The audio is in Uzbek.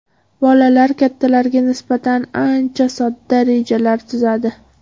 Bolalar kattalarga nisbatan ancha sodda rejalar tuzadi.